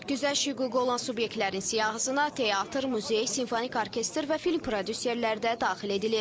Güzəşt hüququ olan subyektlərin siyahısına teatr, muzey, simfonik orkestr və film prodüserləri də daxil edilib.